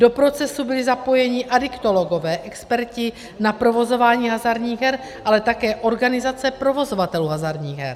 Do procesu byli zapojeni adiktologové, experti na provozování hazardních her, ale také organizace provozovatelů hazardních her.